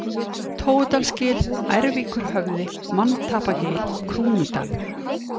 Tóudalsgil, Ærvíkurhöfði, Manntapagil, Krúnudalur